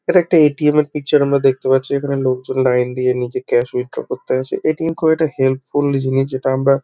এটা একটা এ.টি.এম. এর পিকচার আমরা দেখতে পাচ্ছি। এখানে লোকজন লাইন দিয়ে নিজের ক্যাশ উইথড্রল করতে আসে। এ.টি.এম. খুব একটা হেল্পফুল জিনিস যেটা আমরা--